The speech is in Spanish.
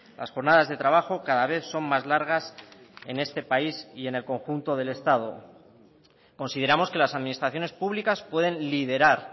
las jornadas de trabajo cada vez son más largas en este país y en el conjunto del estado consideramos que las administraciones públicas pueden liderar